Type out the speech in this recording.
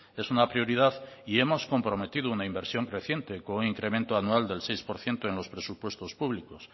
es una prioridad y hemos comprometido una inversión creciente con un incremento anual del seis por ciento en los presupuestos públicos